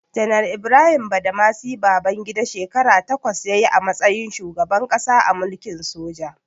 Janar Ibrahim Badamasi Babangida, shekara takwas ya yi a matsayin shugaban ƙasa a mulkin soja.